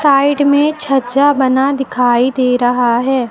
Side में छज्जा बना दिखाई दे रहा है।